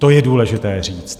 To je důležité říct.